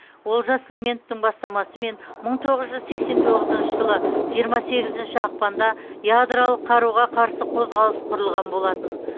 олжас сүлейменовтің бастамасымен мың тоғыз жүз сексен тоғызыншы жылы жиырма сегізінші ақпанда ядролық қаруға қарсы қозғалыс құрылған болатын